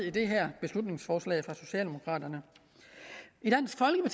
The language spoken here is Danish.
i det her beslutningsforslag fra socialdemokraterne